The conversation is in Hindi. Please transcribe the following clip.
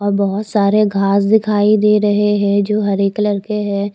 और बहुत सारे घास दिखाई दे रहे है जो हरे कलर के है।